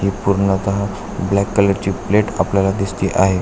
जी पूर्णतः black colour ची plate आपल्याला दिसते आहे.